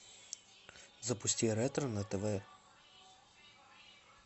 запусти ретро на тв